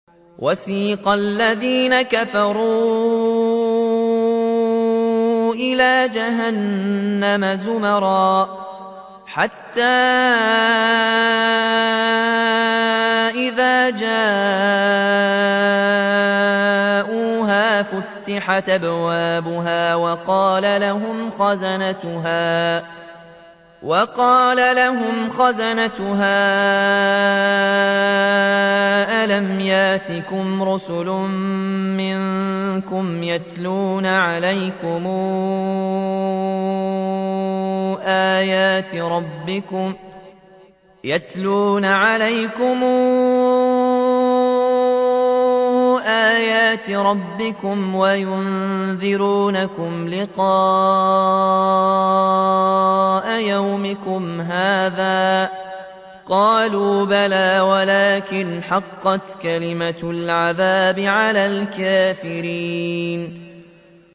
وَسِيقَ الَّذِينَ كَفَرُوا إِلَىٰ جَهَنَّمَ زُمَرًا ۖ حَتَّىٰ إِذَا جَاءُوهَا فُتِحَتْ أَبْوَابُهَا وَقَالَ لَهُمْ خَزَنَتُهَا أَلَمْ يَأْتِكُمْ رُسُلٌ مِّنكُمْ يَتْلُونَ عَلَيْكُمْ آيَاتِ رَبِّكُمْ وَيُنذِرُونَكُمْ لِقَاءَ يَوْمِكُمْ هَٰذَا ۚ قَالُوا بَلَىٰ وَلَٰكِنْ حَقَّتْ كَلِمَةُ الْعَذَابِ عَلَى الْكَافِرِينَ